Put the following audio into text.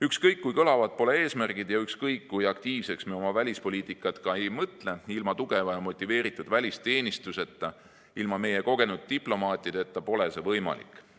Ükskõik kui kõlavad pole eesmärgid ja ükskõik kui aktiivseks me oma välispoliitikat ka ei mõtle, ilma tugeva ja motiveeritud välisteenistuseta, ilma meie kogenud diplomaatideta pole see võimalik.